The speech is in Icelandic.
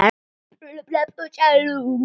Þinn vinur Leifur.